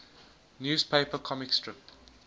newspaper comic strip